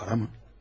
Para mı?